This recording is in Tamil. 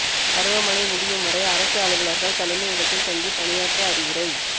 பருவ மழை முடியும்வரை அரசு அலுவலா்கள் தலைமையிடத்தில் தங்கிப் பணியாற்ற அறிவுரை